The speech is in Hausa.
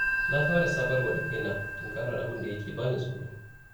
Na fara sabarwa da kaina tunkarar abinda yake bani tsoro.